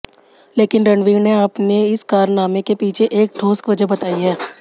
लेकिन रणवीर ने अपने इस कारनामे के पीछे एक ठोस वजह बताई है